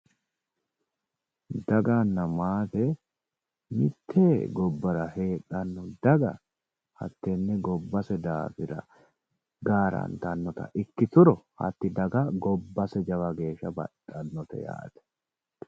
Daganna maate mite gobbara heedhano daga hatene gobbate daafira garattanotta ikkituro hatti daga gobbase jawa geeshsha baxaxnote yaate.